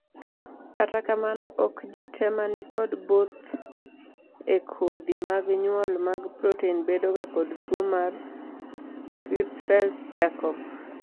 kata kamano, ok jii te ma nikod both e kodhi mag nyuol mag proten bedoga kod tuo mar Creutzfeldt Jakob